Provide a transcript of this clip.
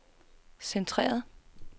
centreret